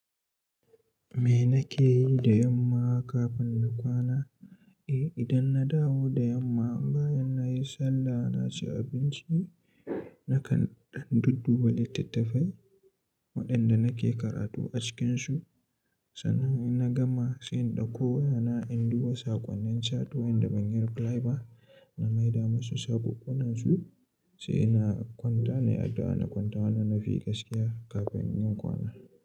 Me nake yi da yamma kafin na kwana? Eh, idan na dawo da yamma bayan nayi sallah naci abinci nakan ɗan dudduba littattafai waɗanda nake karatu a cikinsu. Sannan in na gama sai in dauko yana in duba saƙonnin chato inda ban yi reply ba na maida musu sabobannansu. Sai ina kwanta nayi addu'a, na kwanta wannan na fi gaskiya kafin yin kwana.